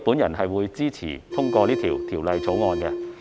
因此，我支持通過《條例草案》。